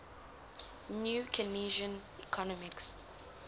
new keynesian economics